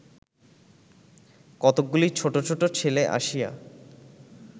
কতকগুলি ছোট ছোট ছেলে আসিয়া